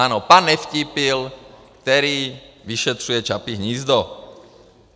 Ano, pan Nevtípil, který vyšetřuje Čapí hnízdo.